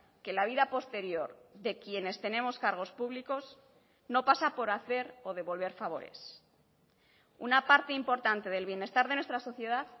que la vida posterior de quienes tenemos cargos públicos no pasa por hacer o devolver favores una parte importante del bienestar de nuestra sociedad